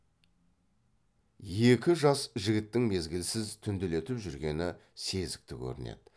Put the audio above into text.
екі жас жігіттің мезгілсіз түнделетіп жүргені сезікті көрінеді